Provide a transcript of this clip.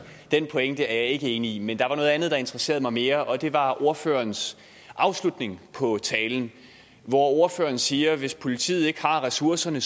den pointe er jeg ikke enig i men der var noget andet der interesserede mig mere og det var ordførerens afslutning på talen hvor ordføreren siger at hvis politiet ikke har ressourcerne